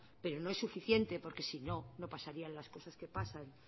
pero no es suficiente porque si no no pasaría las cosas que pasan